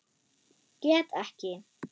Get ekki.